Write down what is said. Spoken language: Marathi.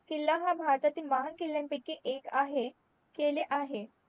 किल्ल्यांवर भारताचे महान किल्ल्यांपैकी एक आहे केले आहे